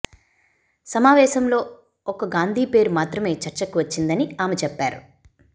సమావేశంలో ఒక్క గాంధీ పేరు మాత్రమే చర్చకు వచ్చిందని ఆమె చెప్పారు